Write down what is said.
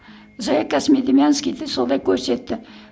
зоя космодемьянскиді солай көрсетті